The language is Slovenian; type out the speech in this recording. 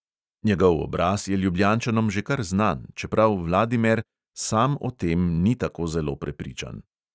Njegov obraz je ljubljančanom že kar znan, čeprav vladimer sam o tem ni tako zelo prepričan.